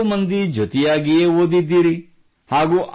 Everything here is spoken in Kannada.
ನೀವು ನಾಲ್ಕೂ ಮಂದಿ ಜತೆಯಾಗಿಯೇ ಓದಿದ್ದೀರಿ